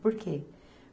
Por quê?